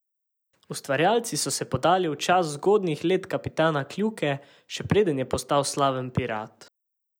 Ustvarjalci so se podali v čas zgodnjih let kapitana Kljuke, še preden je postal slaven pirat.